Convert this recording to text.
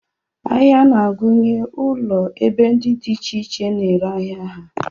Ahịa na-agụnye ulo ebe ndị dị iche iche na-ere ahịa ha